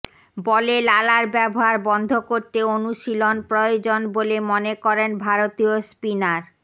বলে লালার ব্যবহার বন্ধ করতে অনুশীলন প্রয়োজন বলে মনে করেন ভারতীয় স্পিনার